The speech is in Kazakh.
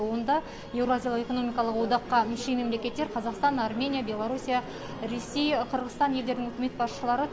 онда еуразиялық экономикалық одаққа мүше мемлекеттер қазақстан армения беларусия ресей қырғызстан елдерінің үкімет басшылары